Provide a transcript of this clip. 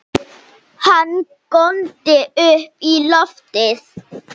Hann góndi upp í loftið!